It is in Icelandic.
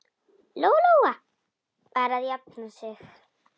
Lóa-Lóa var að jafna sig.